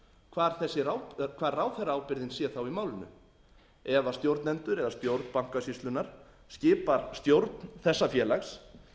hvar ráðherraábyrgðin sé þá í málinu ef stjórnendur eða stjórn bankasýslunnar skipar stjórn þessa félags